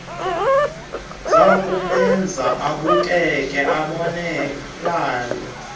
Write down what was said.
zakumenza abukeke abonakale